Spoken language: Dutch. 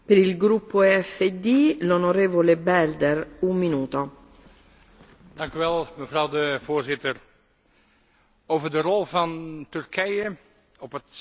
Mevrouw de Voorzitter, over de rol van Turkije op het Syrische strijdtoneel zijn de Europese instellingen dus ook dit Parlement opvallend zwijgzaam.